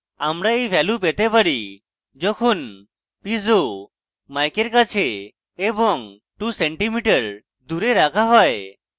আমরা we value পেতে পারি যখন piezo mic we কাছে এবং 2cm দূরে রাখা হয়